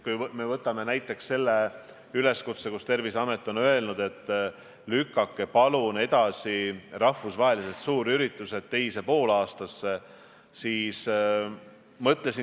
Võtame näiteks üleskutse, et lükake palun rahvusvahelised suurüritused teise poolaastasse.